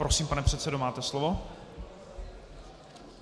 Prosím, pane předsedo, máte slovo.